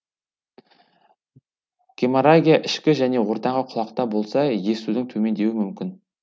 геморрагия ішкі және ортаңғы құлақта болса естудің төмендеуі мүмкін